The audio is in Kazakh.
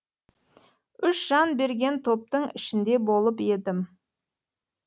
үш жан берген топтың ішінде болып едім